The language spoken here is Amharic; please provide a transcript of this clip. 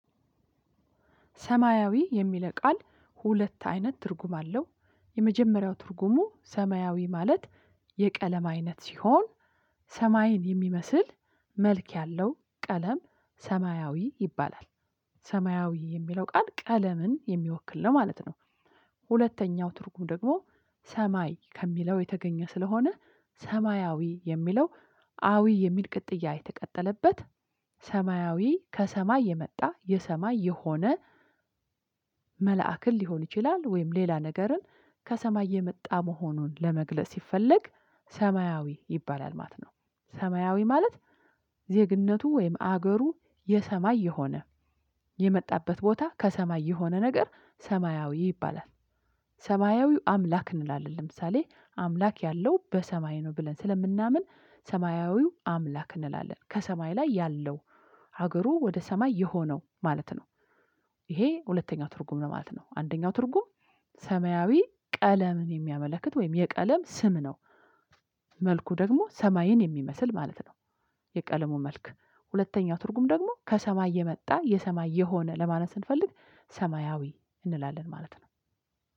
ሰማያዊ የሚለው ቃል ሁለት አይነት ትርጉም አለው የመጀመሪያው ትርጉሙ ሰማያዊ ማለት የቀለም አይነት ሲሆን ሰማይን የሚመስል መልክ ያለው ቀለም ሰማያዊ ይባላል። ሰማያዊ የሚለው ቃል ቀለምን የሚወክል ነው ማለት ነው። ሁለተኛው ትርጉም ደግሞ ሰማይ ከሚለው የተገኘ ስለሆነ ሰማያዊ የሚለው አዊ የሚል ቅጥያ የተቀጠለበት ሰማያዊ ከሰማይ የመጣ የሰማይ የሆነ መልአክን ሊሆን ይችላል ወይም ሌላ ነገርን ከሰማይ የመጣ መሆኑን ለመግለጽ ሲፈለግ ሰማያዊ ይባላል ማለት ነው። ሰማያዊ ማለት ዜግነቱ ወይም ሀገሩ የሰማይ የሆነ የመጣበት ቦታ ከሰማይ የሆነ ነገር ሰማያዊ ይባላል። ሰማያዊው አምላክ እንላለን ለምሳሌ አምላክ ያለው በሰማይ ነው ብለን ስለምናምን ሰማያዊው አምላክ እንላለን ከሰማይ ላይ ያለው ሀገሩ ወደ ሰማይ የሆነው ማለት ነው። ይሄ ሁለተኛው ትርጉም ነው ማለት ነው። አንደኛው ትርጉም ሰማያዊ ቀለምን የሚያመለክት ወይም የቀለም ስም ነው። መልኩ ደግሞ ሰማይን የሚመስል ማለት ነው። የቀለሙ መልክ ሁለተኛው ትርጉም ደግሞ ከሰማይ የመጣ የሰማይ የሆነ ለማነለት ስንፈልግ ሰማያዊ እንላለን ማለት ነው።